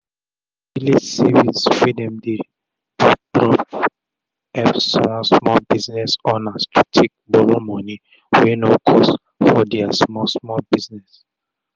d village savings wey dem dey do don epp small small business owners take borrow moni wey no cost for dia small small business